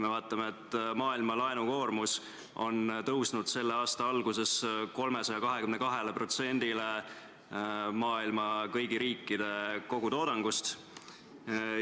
Maailma laenukoormus on tõusnud selle aasta alguses 322%-ni maailma kõigi riikide kogutoodangust.